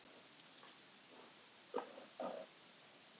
En ég er sjálfsagt að villast enn og aftur.